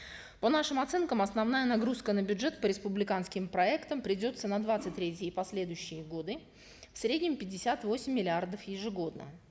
по нашим оценкам основная нагрузка на бюджет по республиканским проектам придется на двадцать третий и последующие годы в среднем пятьдесят восемь миллиардов ежегодно